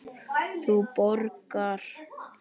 Þú borgar.